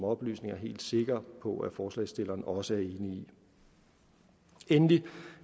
oplysninger helt sikker på at forslagsstillerne også er enig i endelig